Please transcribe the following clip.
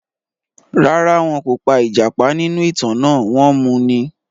Rárá, wọn kò pa ìjàpá nínú ìtàn náà, wọ́n mu ni.